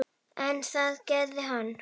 En það gerði hann.